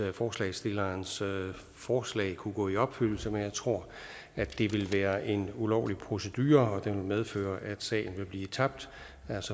at forslagsstillernes forslag kunne gå i opfyldelse men jeg tror at det ville være en ulovlig procedure og det ville medføre at sagen ville blive tabt